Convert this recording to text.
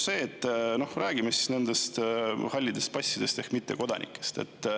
Räägime nendest hallide passide ehk mittekodanikest.